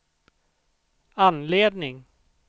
anledning